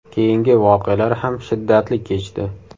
Keyingi voqealar ham shiddatli kechdi.